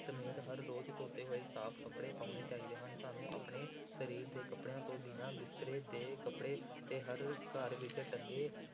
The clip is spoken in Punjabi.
ਸਮੇਤ ਹਰ ਰੋਜ਼ ਧੋਤੇ ਹੋਏ ਸਾਫ਼ ਕੱਪੜੇ ਪਾਉਣੇ ਚਾਹੀਦੇ ਹਨ, ਸਾਨੂੰ ਆਪਣੇ ਸਰੀਰ ਦੇ ਕੱਪੜਿਆਂ ਤੋਂ ਬਿਨਾਂ ਬਿਸਤਰੇ ਦੇ ਕੱਪੜੇ ਤੇ ਹਰ ਘਰ ਵਿੱਚ ਟੰਗੇ